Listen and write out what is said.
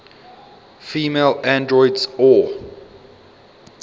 female androids or